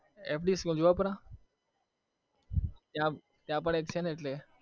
school Juhapura ત્યાં પણ એક છે ને એટલે